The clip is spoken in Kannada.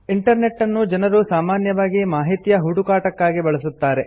ಇಂಟರ್ನೆಟ್ ಅನ್ನು ಜನರು ಸಾಮಾನ್ಯವಾಗಿ ಮಾಹಿತಿಯ ಹುಡುಕಾಟಕ್ಕಾಗಿ ಬಳಸುತ್ತಾರೆ